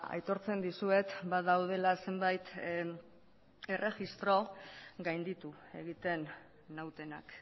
aitortzen dizuet badaudela zenbait erregistro gainditu egiten nautenak